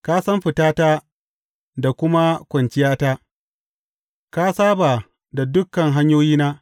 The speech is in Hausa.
Ka san fitata da kuma kwanciyata; ka saba da dukan hanyoyina.